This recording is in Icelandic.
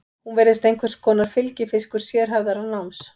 Hún virðist einhvers konar fylgifiskur sérhæfðara náms.